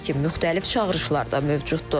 Lakin müxtəlif çağırışlar da mövcuddur.